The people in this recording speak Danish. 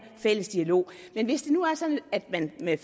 fælles dialog men hvis det nu var sådan at man med